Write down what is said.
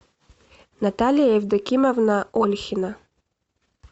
наталья евдокимовна ольхина